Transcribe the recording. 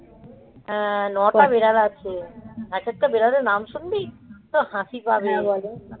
আহ নটা বেড়াল আছে এক একেকটা বিড়ালের নাম শুনবি তোর হাসি পাবে,